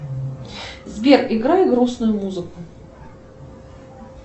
сбер играй грустную музыку